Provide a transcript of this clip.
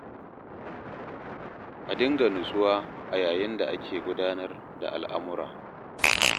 A dinga nutsuwa a yayin da ake gudanar da al'amura.